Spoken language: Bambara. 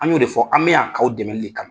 An y'o de fɔ an bɛ yan k' aw dɛmɛli de kama